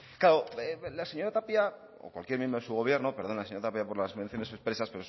claro la señora tapia o cualquier miembro de su gobierno perdona señora tapia por las menciones expresas